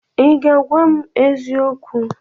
I ga-agwa m eziokwu?